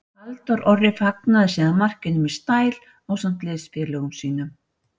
Halldór Orri fagnaði síðan markinu með stæl ásamt liðsfélögum sínum.